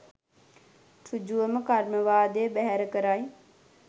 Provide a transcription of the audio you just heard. සෘජුවම කර්මවාදය බැහැර කරයි